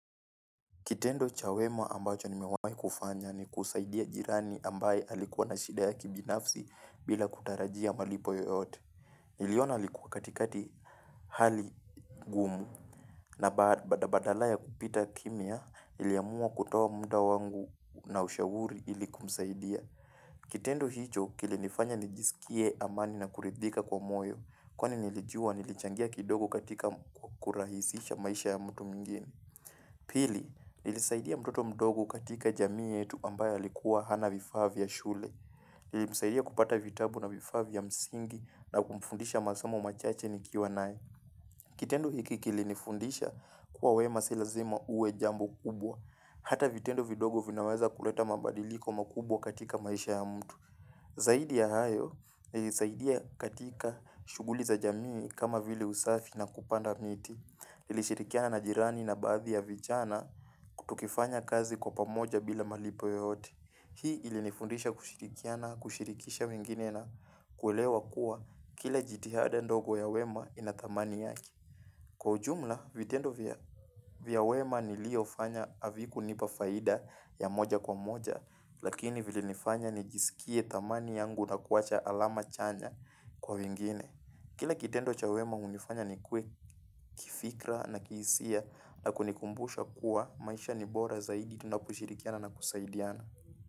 Kitendo cha wema ambacho nimewai kufanya ni kusaidia jirani ambaye alikuwa na shida ya kibinafsi bila kutarajia malipo yoyote. Niliona alikuwa katikati hali ngumu. Na bada badala ya kupita kimya, niliamua kutoa muda wangu na ushauri iliku kumsaidia. Kitendo hicho, kilinifanya nijisikie amani na kuridhika kwa moyo. Kwani nilijua nilichangia kidogo katika kurahisisha maisha ya mtu mwingine Pili, nilisaidia mtoto mdogo katika jamii yetu ambaye alikuwa hana vifavaa vya shule. Nilisaidia kupata vitabu na vifavaa vya msingi na kumfundisha masomo machache nikiwa naye. Kitendo hiki kilinifundisha kuwa wema si lazima uwe jambo kubwa. Hata vitendo vidogo vinaweza kuleta mabadiliko makubwa katika maisha ya mtu. Zaidi ya hayo, ni zaidi ya katika shughuli za jamii kama vile usafi na kupanda miti. Nilishirikiana na jirani na baadhi ya vijana kutukifanya kazi kwa pamoja bila malipo yoyote. Hii ilinifundisha kushirikiana, kushirikisha mwingine na kulewa kuwa kila jitihada ndogo ya wema ina dhamani yake Kwa ujumla, vitendo vya wema niliofanya havikunipa faida ya moja kwa moja. Lakini vile nifanya nijisikie dhamani yangu na kuwacha alama chanya kwa wengine Kila kitendo cha wema unifanya nikuwe kifikra na kihisia na kunikumbusha kuwa maisha ni bora zaidi na kushirikiana na kusaidiana.